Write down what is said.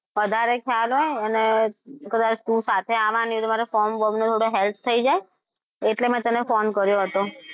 વધારે ખ્યાલ હોય. અને કદાચ હું સાથે આવવાની છું તો મારે form નું થોડી help થઈ જાય એટલે મેં તને phone કર્યો હતો.